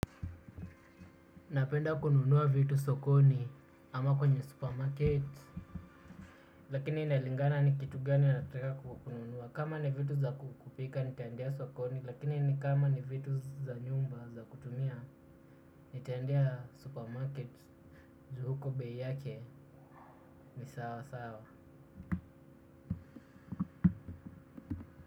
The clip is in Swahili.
Napenda kununua vitu sokoni ama kwenye supermarket. Lakini inalingana ni kitu gani nataka kununua. Kama ni vitu za kupika nitaendea sokoni. Lakini ni kama ni vitu za nyumba za kutumia. Nitaendea supermarket ju huko bei yake ni sawa sawa.